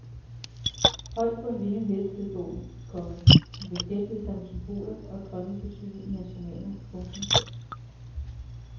Højt på en vinget hest hed bogen, komma som beskæftigede sig med symboler og drømmes betydning i hans romaner. punktum